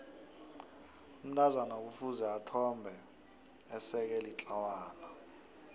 umntazana kufuze ethombe eseke litlawana